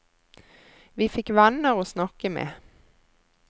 Vi fikk venner å snakke med.